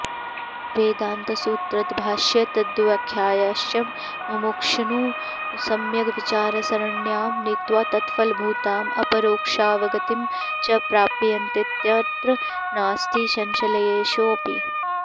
वेदान्तसूत्रतद्भाष्यतद्व्याख्याश्च मुमुक्षून् सम्यग्विचारसरण्यां नीत्वा तत्फलभूताम् अपरोक्षावगतिं च प्रापयन्तीत्यत्र नास्ति संशयलेशोऽपि